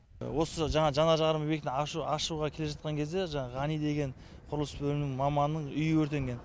осы жаңағы жанар жағармай бекетін ашуға келе жатқан кезде жаңағы ғани деген құрылыс бөлімінің маманының үйі өртенген